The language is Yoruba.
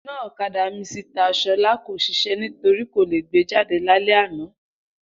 Iná ọ̀kadà Misita Ṣọlá ko ṣiṣẹ nítorínà kò lè gbé jáde lálẹ́ àná